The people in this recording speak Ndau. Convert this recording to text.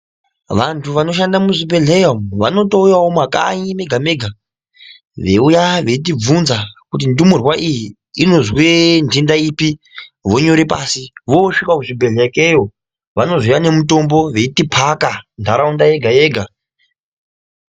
Vantu vanoshande muzvibhedhlera umu vanotouya mumakanyi mega mega veyiuya veitibvunza kuti ndumurwa iyi inozwa ndenda ipi vonyore pai vosvika kuzvibhedhlera ikeyo vanozouya nemutombo veiti paka ndaraunda yega yega.